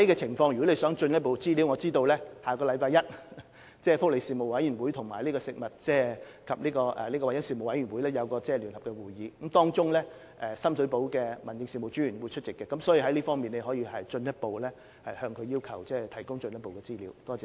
如果議員想進一步就具體情況取得資料，據我所知，福利事務委員會及食物安全及環境衞生事務委員會將在下星期一舉行聯席會議，屆時深水埗民政事務專員將會出席，議員可在該場合要求提供進一步資料。